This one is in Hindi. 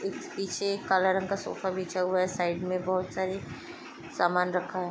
--पीछे एक काला रंग का सोफा बिछा हुआ है साइड मे बहोत सारी सामान् रखा हुआ है।